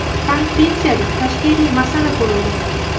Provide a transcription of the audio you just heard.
Konferensiyada tashkiliy masala ko‘rildi.